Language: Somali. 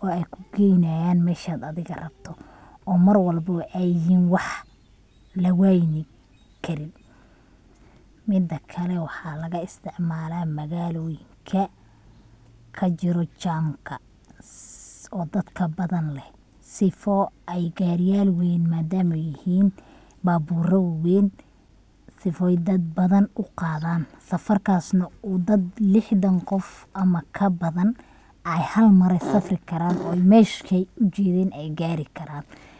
oo ay kugeynayan meshad adiga rabto oo Mar walbobo ay yihin wax lawaynin karin. Midakale waxa laga isticmaala magaaloyinka kajiro jamka dadka badan leh sifo ay gaariyal weyn madama ay yihin, babura waweyn sifoy dad badan u qaadan, safarkas na uu dad lixdan qof ama kabadan ay hal Mar eh safri karaan oo meshay ujedeen ay gaari karaan